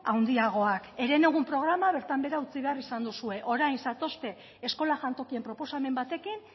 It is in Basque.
handiagoak herenegun programa bertan bera utzi behar izan duzue orain zatozte eskola jantokien proposamen batekin